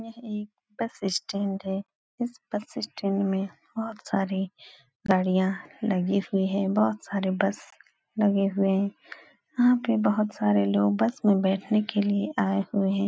यह एक bus stand है। इस बस स्टैन्ड में बोहोत सारी गाड़ियां लगी हुई हैं। बोहोत सारे बस लगे हुए हैं। यहाँ पे बोहोत सारे लोग बस में बैठने के लिए आए हुए हैं।